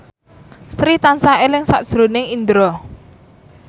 Sri tansah eling sakjroning Indro